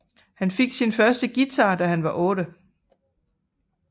Han fik sin første guitar da han var otte